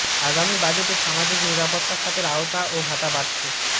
আগামী বাজেটে সামাজিক নিরাপত্তা খাতের আওতা ও ভাতা বাড়ছে